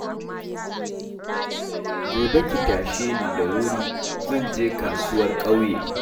Gobe ki tashe ni da wuri zan je kasuwar ƙauye